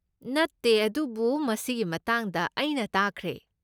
ꯅꯠꯇꯦ, ꯑꯗꯨꯕꯨ ꯃꯁꯤꯒꯤ ꯃꯇꯥꯡꯗ ꯑꯩꯅ ꯇꯥꯈ꯭ꯔꯦ꯫